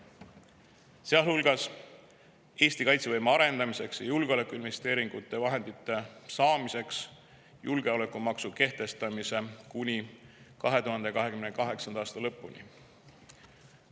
Sealhulgas on julgeolekumaksu kehtestamine kuni 2028. aasta lõpuni, et saada vahendeid Eesti kaitsevõime arendamiseks ja julgeolekuinvesteeringuteks.